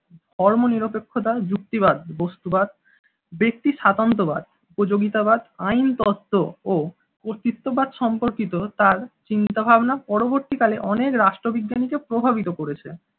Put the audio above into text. ধর্মনিরপেক্ষতা যুক্তিবাদ বস্তুবাদ ব্যক্তিস্বাতন্ত্র্যবাদ উপযোগিতাবাদ আইন তথ্য ও কতৃত্ববাদ সম্পর্কিত তার চিন্তা-ভাবনা পরবর্তীকালে অনেক রাষ্ট্রবিজ্ঞানী কে প্রভাবিত করেছে।